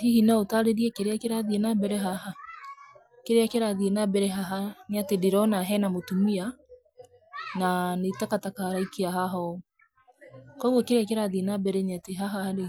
Hihi no ũtaarĩrie kĩrĩa kĩrathiĩ na mbere haha? Kĩrĩa kĩrathiĩ na mbere haha nĩ atĩ ndĩrona he na mutumia na nĩ takataka araikia haha ũũ. Koguo kĩrĩa kĩrathiĩ nĩ atĩ haha-rĩ,